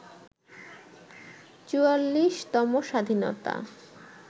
৪৪তম স্বাধীনতা